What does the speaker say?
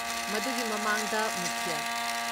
ꯃꯗꯨꯒꯤ ꯃꯃꯥꯡꯗ ꯃꯨꯈ꯭ꯌ